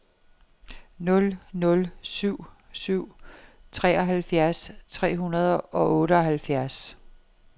nul nul syv syv treoghalvfjerds tre hundrede og otteoghalvfjerds